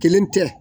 Kelen tɛ